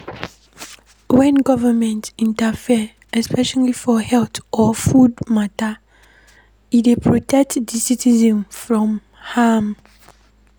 When government interfere especially for health or food matter, e dey protect di citizens from harm